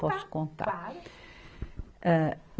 Posso contar? Claro